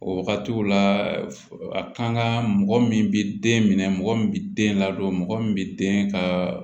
O wagatiw la a kan ka mɔgɔ min bi den minɛ mɔgɔ min bi den ladon mɔgɔ min bi den ka